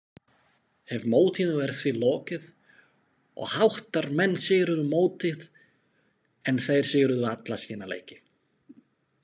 HEF mótinu er því lokið og Hattarmenn sigruðu mótið en þeir sigruðu alla sína leiki.